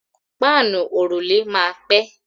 Páànù òrùlé máa pẹ́.